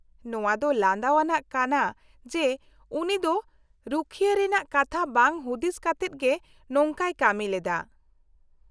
-ᱱᱚᱶᱟᱹ ᱫᱚ ᱞᱟᱸᱫᱟᱣᱟᱱᱟᱜ ᱠᱟᱱᱟ ᱡᱮ ᱩᱱᱤ ᱫᱚ ᱨᱩᱠᱷᱭᱟᱹ ᱨᱮᱱᱟᱜ ᱠᱟᱛᱷᱟ ᱵᱟᱝ ᱦᱩᱫᱤᱥ ᱠᱟᱛᱮᱫ ᱜᱮ ᱱᱚᱝᱠᱟᱭ ᱠᱟᱹᱢᱤᱞᱮᱫᱟ ᱾